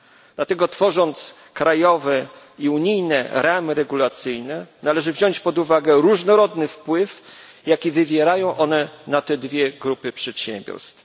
Dlatego tworząc krajowe i unijne ramy regulacyjne, należy wziąć pod uwagę różnorodny wpływ, jaki wywierają one na te dwie grupy przedsiębiorstw.